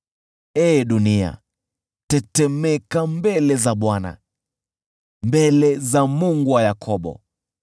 Ee dunia, tetemeka mbele za Bwana, mbele za Mungu wa Yakobo,